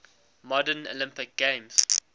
modern olympic games